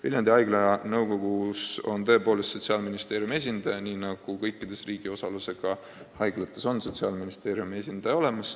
" Viljandi Haigla nõukogus on tõepoolest Sotsiaalministeeriumi esindaja, nii nagu ka kõikides muudes riigi osalusega haiglates.